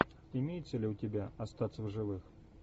имеется ли у тебя остаться в живых